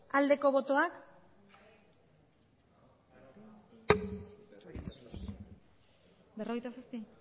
aldeko botoak